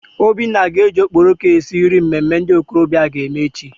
Obinna ga-eji okporoko esi nri mmemme ndị okorobịa aga eme echi.